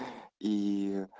ии